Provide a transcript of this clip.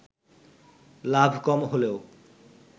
লাভ কম হলেও